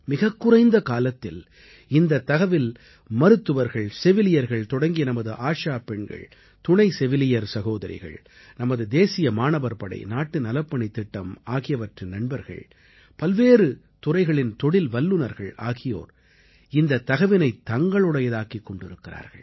மிகக்குறைந்த காலத்தில் இந்தத் தகவில் மருத்துவர்கள் செவிலியர்கள் தொடங்கி நமது ஆஷா பெண்கள் துணை செவிலியர் சகோதரிகள் நமது தேசிய மாணவர் படை நாட்டு நலப்பணித் திட்டம் ஆகியவற்றின் நண்பர்கள் பல்வேறு துறைகளின் தொழில் வல்லுநர்கள் ஆகியோர் இந்தத் தகவினைத் தங்களுடையதாக்கிக் கொண்டிருக்கிறார்கள்